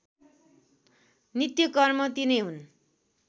नित्यकर्म तिनै हुन्